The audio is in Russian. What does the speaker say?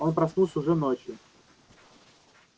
он проснулся уже ночью